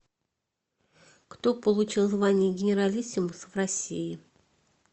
кто получил звание генералиссимус в россии